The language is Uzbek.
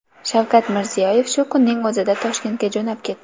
Shavkat Mirziyoyev shu kunning o‘zida Toshkentga jo‘nab ketdi.